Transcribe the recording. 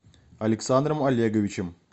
александром олеговичем